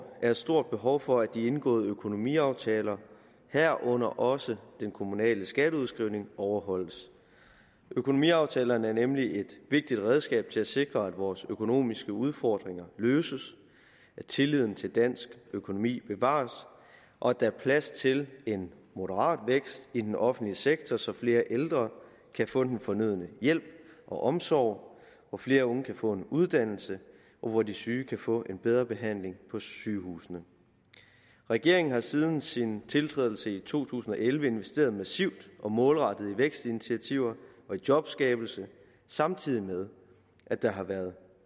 er et stort behov for at de indgåede økonomiaftaler herunder også den kommunale skatteudskrivning overholdes økonomiaftalerne er nemlig et vigtigt redskab til at sikre at vores økonomiske udfordringer løses at tilliden til dansk økonomi bevares og at der er plads til en moderat vækst i den offentlige sektor så flere ældre kan få den fornødne hjælp og omsorg flere unge kan få en uddannelse og de syge kan få en bedre behandling på sygehusene regeringen har siden sin tiltrædelse i to tusind og elleve investeret massivt og målrettet i vækstinitiativer og jobskabelse samtidig med at der har været